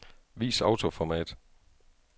Vis autoformat.